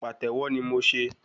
Pàtẹ́wọ́ ni mo se